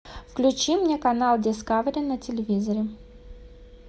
включи мне канал дискавери на телевизоре